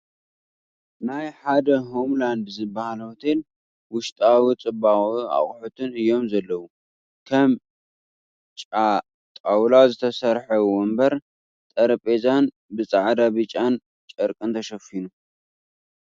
ናይ ሓደ ሆምላንድ ዝበሃል ሆቴል ውሽጣዊ ፅባቅኡን ኣቁሑትን እዮም ዘለዉ። ከም ጫጣውላ ዝተሰርሐ ወንበር ጠረጼዝኡ ብፃዕዳን ቢጫን ጨርቂ ተሸፊኑ ።